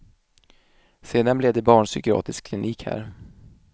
Sedan blev det barnpsykiatrisk klinik här.